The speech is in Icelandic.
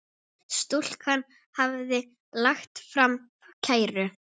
Stúlkan hafði lagt fram kæru.